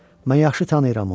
Mən yaxşı tanıyıram onu.